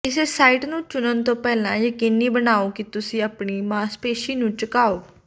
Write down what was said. ਕਿਸੇ ਸਾਈਟ ਨੂੰ ਚੁਣਨ ਤੋਂ ਪਹਿਲਾਂ ਯਕੀਨੀ ਬਣਾਓ ਕਿ ਤੁਸੀਂ ਆਪਣੀ ਮਾਸਪੇਸ਼ੀ ਨੂੰ ਝੁਕਾਓ